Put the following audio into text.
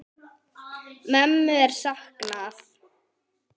Mömmu er saknað.